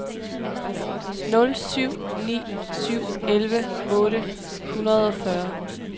nul syv ni syv elleve otte hundrede og fyrre